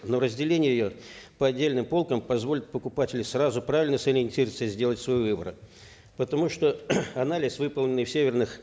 но разделение ее по отдельным полкам позволит покупателю сразу правильно сориентироваться и сделать свой выбор потому что анализ выполненный в северных